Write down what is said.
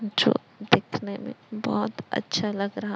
जो दिखने में बहोत अच्छा लग रहा--